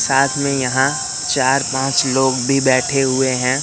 साथ मे यहां चार पांच लोग भी बैठे हुए हैं।